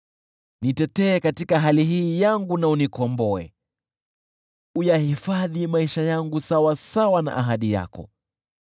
Nitetee katika hali hii yangu na unikomboe, uyahifadhi maisha yangu sawasawa na ahadi yako.